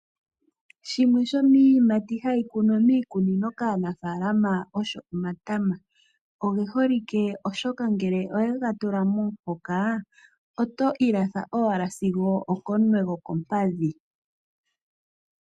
Shimwe shomiiyimati hayi kunwa miikunino kaanafaalama osho matama. Oge holike oshoka ngele owega tula momuhoka, oto ilatha owala sigo okomunwe gokompadhi.